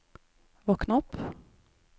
våkn opp